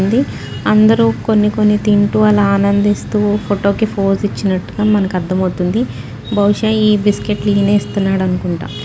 ఉంది అందరు కొన్నికొన్ని తింటూ అలా ఆనందిస్తూ ఫోటో కి పోస్ ఇచ్చినటుగా మనకి అర్థమవుతుంది బహుషా ఈ బిస్కెట్ లు ఈనే ఇస్తున్నాడనుకుంట .